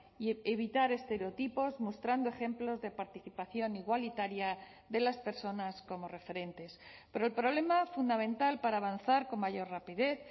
y evitar estereotipos mostrando ejemplos de participación igualitaria de las personas como referentes pero el problema fundamental para avanzar con mayor rapidez